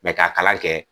Mɛ ka kalan kɛ